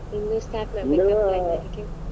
ಹ ಇನ್ನು .